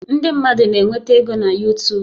Ndị mmadụ na-enweta ego na YuTub